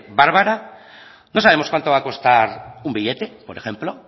bárbara no sabemos cuánto va a costar un billete por ejemplo